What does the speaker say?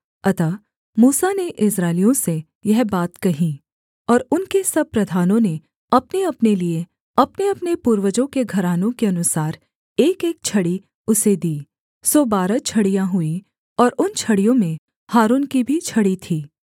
अतः मूसा ने इस्राएलियों से यह बात कही और उनके सब प्रधानों ने अपनेअपने लिए अपनेअपने पूर्वजों के घरानों के अनुसार एकएक छड़ी उसे दी सो बारह छड़ियाँ हुई और उन छड़ियों में हारून की भी छड़ी थी